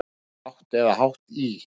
Er lágt eða hátt í?